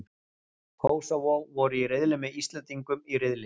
Kósóvó voru í riðli með Íslendingum í riðli.